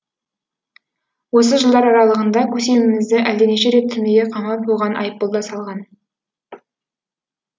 осы жылдар аралығында көсемімізді әлденеше рет түрмеге қамап оған айыппұл да салған